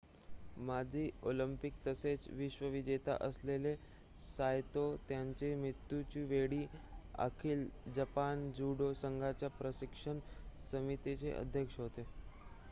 माजी ऑलिंपिक तसेच विश्व विजेता असलेले सायतो त्यांच्या मृत्युच्या वेळी अखिल जपान जूडो संघाच्या प्रशिक्षण समितीचे अध्यक्ष होते